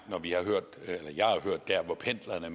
med pendlerne